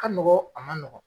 Ka nɔgɔn a ma nɔgɔn